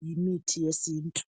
ngumuthi wesintu